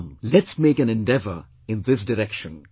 Come, let's make an endeavour in this direction